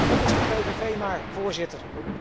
Het is de PVV maar, Voorzitter.